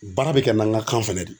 Baara be kɛ n'an ga kan fɛnɛ de ye